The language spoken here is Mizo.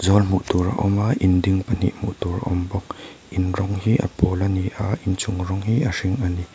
hmuh tur a awm a in ding pahnih hmuh tur awm bawk in rawng hi a pawl a ni a inchung rawng hi a hring a ni.